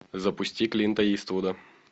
запусти клинта иствуда